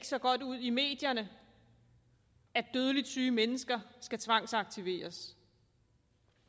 så godt ud i medierne at dødeligt syge mennesker skal tvangsaktiveres